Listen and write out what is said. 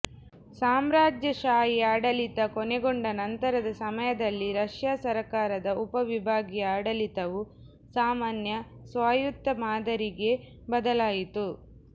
ಸಾಮ್ರಾಜ್ಯಶಾಹಿ ಆಡಳಿತ ಕೊನೆಗೊಂಡ ನಂತರದ ಸಮಯದಲ್ಲಿ ರಷ್ಯಾ ಸರ್ಕಾರದ ಉಪವಿಭಾಗೀಯ ಆಡಳಿತವು ಸಾಮಾನ್ಯ ಸ್ವಾಯುತ್ತ ಮಾದರಿಗೆ ಬದಲಾಯಿತು